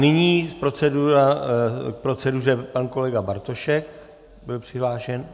Nyní k proceduře pan kolega Bartošek, byl přihlášen.